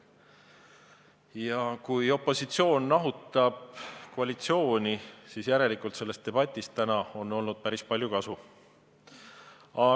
Aga kui opositsioon nahutab koalitsiooni, siis järelikult on sellest debatist täna päris palju kasu olnud.